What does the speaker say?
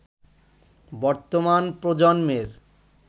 বর্তমান প্রজন্মের